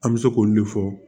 An bɛ se k'olu de fɔ